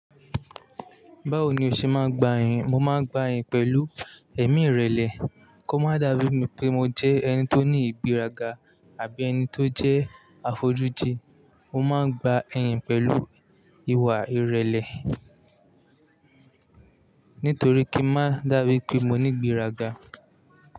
Báwo ni o ṣe máa ń gba iyìn? Mo máa ń gba iyìn pẹ̀lú ẹ̀mí ìrẹ̀lẹ̀ kó má dàbí mi pé mo jẹ́ ẹni tó ní ìgbéraga àbí ẹni tó jẹ́ afójúdì. Mo máa ń gba ẹ̀yìn pẹ̀lú ìwà ìrẹ̀lẹ̀ nítorí kín má dàbí pé mo ní ìgbéraga.